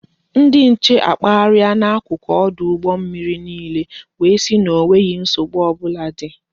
Ndị nche akpagharịa na n'akụkụ ọdụ mmiri niile wee sị na enweghi nsogbu ọbụla dị